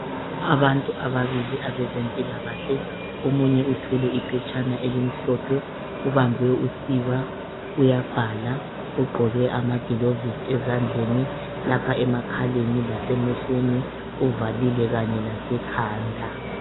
Abantu ababili abezempilakahle, omunye uthwele iphetshana elimhlophe ubambe usiba uyabhala. Ugqoke amagilovisi ezandleni, lapha emakhaleni lasemehlweni uvalile, kanye lasekhanda.